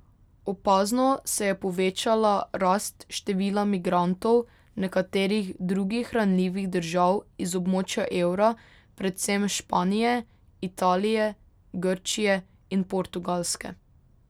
Opazno se je povečala rast števila migrantov nekaterih drugih ranljivih držav iz območja evra, predvsem Španije, Italije, Grčije in Portugalske.